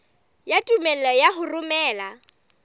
ya tumello ya ho romela